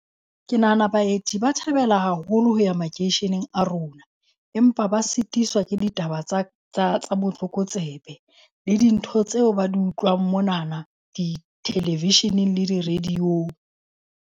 Ke nahana baeti ba thabela haholo ho ya makeisheneng a rona. Empa ba sitiswa ke ditaba tsa tsa botlokotsebe, le dintho tseo ba di utlwang monana di-television-eng le di-radio-ng.